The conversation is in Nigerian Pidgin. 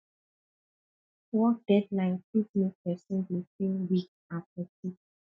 work deadline fit make person dey feel weak and fatigue